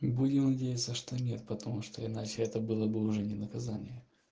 и будем надеяться что нет потому что иначе это было бы уже не наказание